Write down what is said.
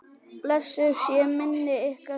Blessuð sé minning ykkar hjóna.